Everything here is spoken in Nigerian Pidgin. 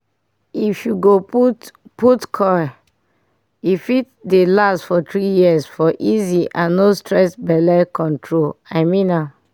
if go put put coil e fit dey last for 3yrs for easy and no stress belle control. i mean am